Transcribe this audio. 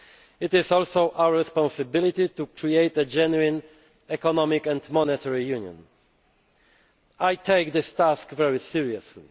It is also our responsibility to create a genuine Economic and Monetary Union. I take this task very seriously.